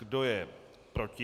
Kdo je proti?